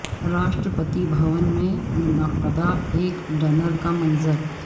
راشٹر پتی بھون میں منعقدہ ایک ڈنر کا منظر